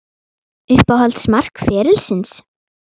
Uppáhalds mark ferilsins?